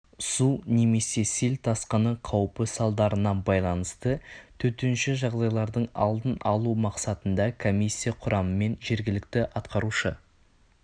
су немесе сел тасқыны қаупі салдарына байланысты төтенше жағдайлардың алдын алу мақсатында комиссия құрамымен жергілікті атқарушы